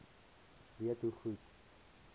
weet hoe goed